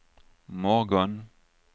morgon